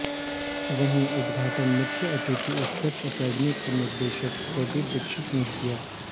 वहीं उद्घाटन मुख्य अतिथि उत्कर्ष एकेडमी के निदेशक प्रदीप दीक्षित ने किया